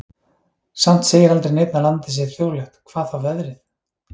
Samt segir aldrei neinn að landið sé þjóðlegt, hvað þá veðrið.